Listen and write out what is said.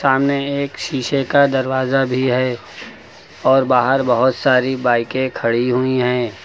सामने एक शीशे का दरवाजा भी है और बाहर बहुत सारी बाइके खड़ी हुई हैं।